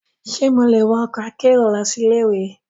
Ṣe mo le wọ ọkọ akero lọsi ile-iwe?